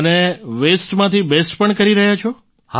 અને વેસ્ટમાંથી બેસ્ટ પણ કરી રહ્યા છો